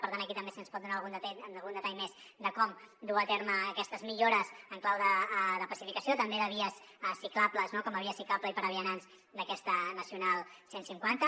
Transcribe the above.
per tant aquí també si ens pot donar algun detall més de com dur a terme aquestes millores en clau de pacificació també de vies ciclables com a via ciclable i per a vianants d’aquesta nacional cent i cinquanta